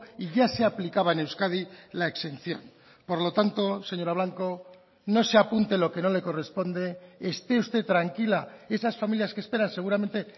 y ya se aplicaba en euskadi la exención por lo tanto señora blanco no se apunte lo que no le corresponde esté usted tranquila esas familias que esperan seguramente